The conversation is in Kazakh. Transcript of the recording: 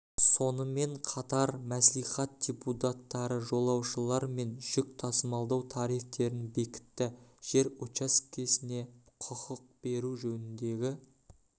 сонымен қатар қалалық мәслихат депутаттары жолаушылар мен жүк тасымалдау тарифтерін бекітт жер учаскесіне құқық беру жөніндегі